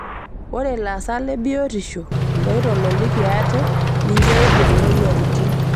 Ore lasak lebiotisho loitololiki ate ninche eibung' moyiaritin